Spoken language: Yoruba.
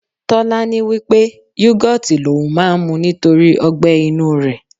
Tọ́lání wí pé yogoti l'oun máa ń mu nítorí ọgbẹ inú rẹ̀.